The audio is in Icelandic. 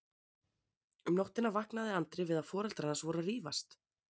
Um nóttina vaknaði Andri við að foreldrar hans voru að rífast.